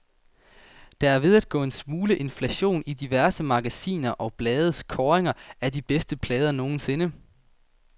Der er ved at gå en smule inflation i diverse magasiner og blades kåringer af de bedste plader nogensinde.